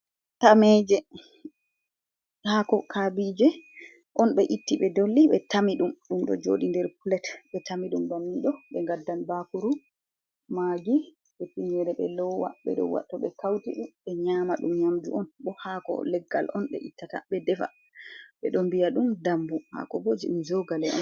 Tameje, haako kabije on ɓe itti, ɓe dolli, ɓe tami ɗum. Ɗum ɗo jooɗi nder pilet, ɓe tami ɗum bannin ɗo, ɓe ngaddan bakuru, magi be tinyere be lowa, be ɗo wa.... to ɓe kauti ɗum, ɓe nyama ɗum. Nyamdu on, bo hako leggal on ɓe ittata, ɓe defa. Be ɗo mbiya ɗum dambu, hako bo jei... um jogale on.